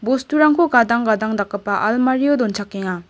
bosturangko gadang gadang dakgipa almario donchakenga.